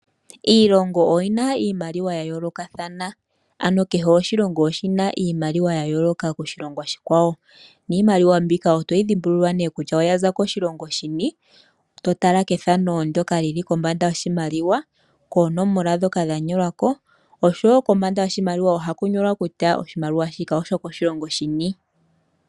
Iilongo oyina iimaliwa yayoolokathana, shahala okutya kehe oshilongo oshina iimaliwa yayooloka kiilongo iikwawo . Ohayi dhimbuliwa kolwaala lokombanda yasho, koonomola ndhoka dha nyolwako oshowoo kombanda hasho ohaku nyolwa kutya sho oshokoshilongo shini.